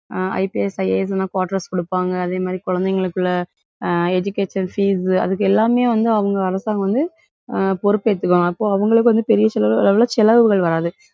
அஹ் IPS, IAS எல்லாம் quarters குடுப்பாங்க. அதே மாதிரி, குழந்தைகளுக்குள்ள அஹ் education fees அதுக்கு எல்லாமே வந்து அவங்க அரசாங்கம் வந்து அஹ் பொறுப்பு ஏத்துக்குவாங்க. அப்போ அவங்களுக்கு வந்து பெரிய அளவிலே செலவுகள் வராது.